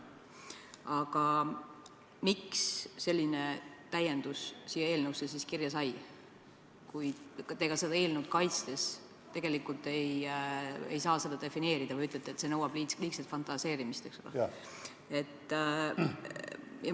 Aga miks selline täiendus siia eelnõusse siis kirja sai, kui te eelnõu kaitstes tegelikult ei oska seda defineerida ja ütlete, et see nõuab liigset fantaseerimist?